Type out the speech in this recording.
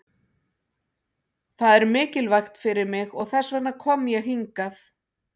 Það er mikilvægt fyrir mig og þess vegna kom ég hingað.